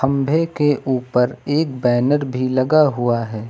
खंभे के ऊपर एक बैनर भी लगा हुआ है।